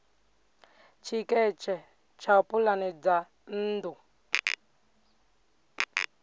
tshiketshe tsha pulane dza nnḓu